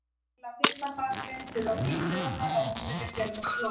Til að fylla sarpinn þurfa býflugurnar að heimsækja fjölmörg blóm.